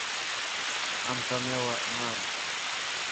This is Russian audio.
антонелла нарой